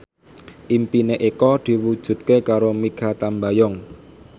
impine Eko diwujudke karo Mikha Tambayong